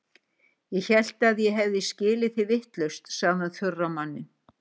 Ég hélt að ég hefði skilið þig vitlaust, segir hann þurr á manninn.